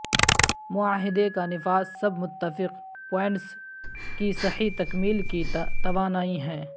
معاہدے کا نفاذ سب متفق پوائنٹس کی صحیح تکمیل کی توانائی ہیں